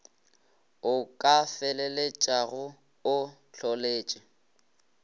o ka feleletšago o hloletše